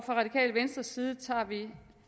radikale venstres side tager vi